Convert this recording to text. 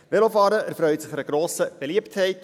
Velofahren erfreut sich grosser Beliebtheit.